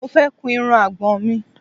Mo fẹ́ kun irun àgbọ̀n mi